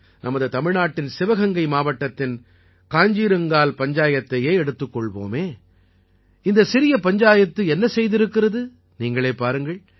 நமது தமிழ்நாட்டின் சிவகங்கை மாவட்டத்தின் காஞ்ஜீரங்கால் பஞ்சாயத்தையே எடுத்துக் கொள்வோமே இந்தச் சிறிய பஞ்சாயத்து என்ன செய்திருக்கிறது நீங்களே பாருங்கள்